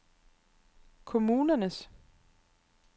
kommunernes